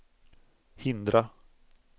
hindra